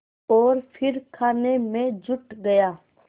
और फिर खाने में जुट गया